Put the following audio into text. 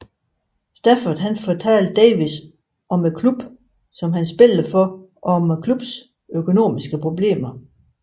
Stafford fortalte Davies om klubben han spillede for og om klubbens økonomiske problemer